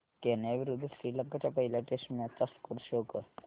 Kenya विरुद्ध श्रीलंका च्या पहिल्या टेस्ट मॅच चा स्कोअर शो कर